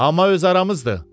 Amma öz aramızdır.